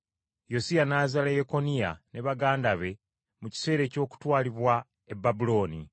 Yosiya n’azaala Yekoniya ne baganda be mu kiseera eky’okutwalibwa e Babulooni.